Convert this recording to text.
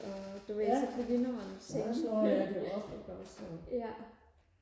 ja så slår jeg det op